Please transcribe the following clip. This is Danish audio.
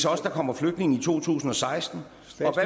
også kommer flygtninge i 2016